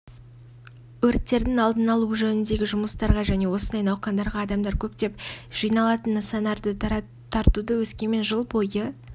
өрттердің алдын алу жөніндегі жұмыстарға және осындай науқандарға адамдар көптеп жиналатын нысандарды тартуды өскемен жыл бойы